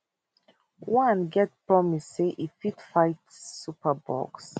one get promise say e fit fight superbugs